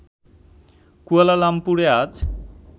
কুয়ালালামপুরে আজ